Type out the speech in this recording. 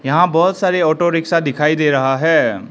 यहां बहोत सारे ऑटो रिक्शा दिखाई दे रहा है।